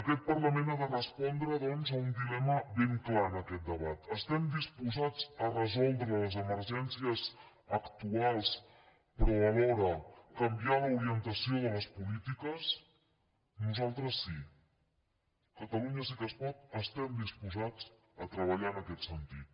aquest parlament ha de respondre doncs a un dilema ben clar en aquest debat estem disposats a resoldre les emergències actuals però alhora canviar l’orientació de les polítiques nosaltres sí catalunya sí que es pot estem disposats a treballar en aquest sentit